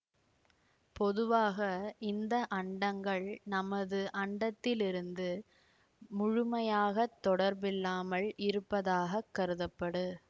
பொதுவாக இந்த அண்டங்கள் நமது அண்டத்திலிருந்து முழுமையாக தொடர்பில்லாமல் இருப்பதாக கருதப்படு